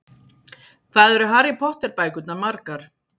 Hvað eru Harry Potter bækurnar margar?